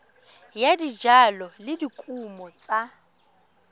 ya dijalo le dikumo tsa